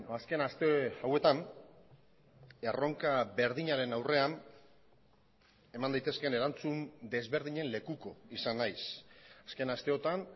azken aste hauetan erronka berdinaren aurrean eman daitezkeen erantzun desberdinen lekuko izan naiz asken asteotan